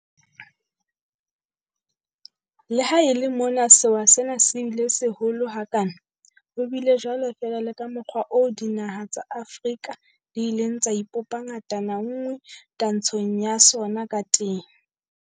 Le ha e le mona sewa sena se bile seholo ha kana, ho bile jwalo fela le ka mokgwa oo dinaha tsa Afrika di ileng tsa ipopa ngatana nngwe twantshong ya sona ka teng.